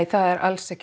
alls ekki